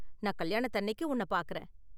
நான் கல்யாணத்தன்னைக்கு உன்ன பாக்கறேன்.